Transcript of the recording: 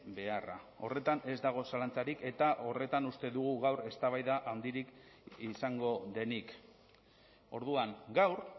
beharra horretan ez dago zalantzarik eta horretan uste dugu gaur eztabaida handirik izango denik orduan gaur